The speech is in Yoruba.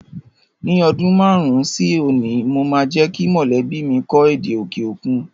Ní ọdún márùn-ún sí òní mo máa jẹ́ kí mọ̀lẹ́bí mi kọ́ èdè òkè òkun